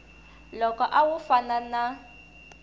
loko a wu fana na